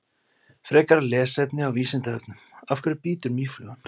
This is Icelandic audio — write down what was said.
Frekara lesefni á Vísindavefnum: Af hverju bítur mýflugan?